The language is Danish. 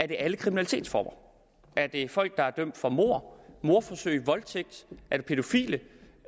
det er alle kriminalitetsformer er det folk der er dømt for mord mordforsøg voldtægt er det pædofile